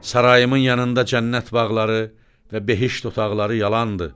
Sarayımın yanında cənnət bağları və behişt otaqları yalandır.